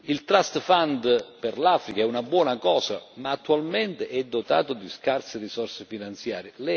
Il Trust Fund per l'Africa è una buona cosa ma attualmente è dotato di scarse risorse finanziarie.